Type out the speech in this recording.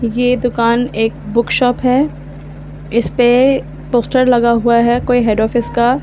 ये दुकान एक बुक शॉप है इस पे पोस्टर लगा हुआ है कोई हेड ऑफिस का--